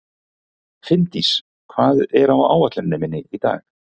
Finndís, hvað er á áætluninni minni í dag?